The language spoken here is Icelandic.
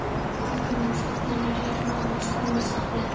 Ákvörðun um stofnun er hér nánast formsatriði.